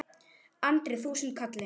Andri: Þúsund kalli?